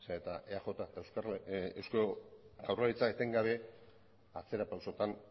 zeren eta eaj eta eusko jaurlaritza etengabe atzera pausotan